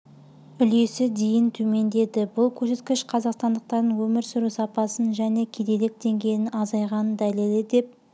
үлесі дейін төмендеді бұл көрсеткіш қазақстандықтардың өмір сүру сапасының және кедейлік деңгейінің азайғанының дәлелі деп